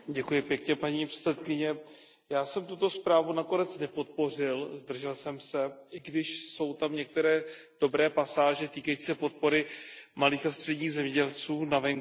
Paní předsedající, já jsem tuto zprávu nakonec nepodpořil, zdržel jsem se, i když jsou tam některé dobré pasáže týkající se podpory malých a středních zemědělců na venkově.